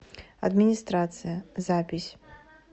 администрация запись